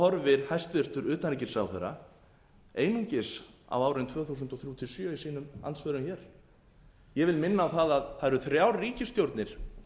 horfir hæstvirts utanríkisráðherra einungis á árin tvö þúsund og þrjú til tvö þúsund og sjö í sínum andsvörum hér ég vil minna á það að það eru þrjár ríkisstjórnir